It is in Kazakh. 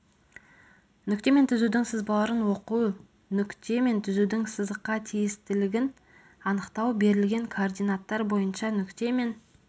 нүкте мен түзудің сызбаларын оқу нүкте мен түзудің сызыққа тиістілігін анықтау берілген координаттар бойынша нүкте мен